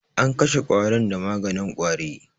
An kashe ƙwarin da maganin ƙwari.